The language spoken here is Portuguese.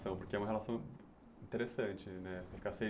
porque é uma relação interessante, né? Ficar seis